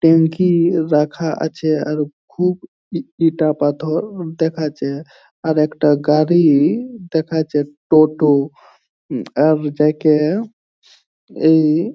ট্যাংকি রাখা আছে আর খুব ই ইটা পাথর ও দেখাচ্ছে আর একটা গাড়ি ই দেখাচ্ছে টোটো আর যা কে এই --